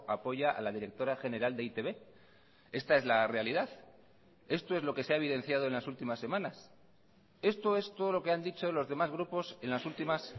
apoya a la directora general de e i te be esta es la realidad esto es lo que se ha evidenciado en las últimas semanas esto es todo lo que han dicho los demás grupos en las últimas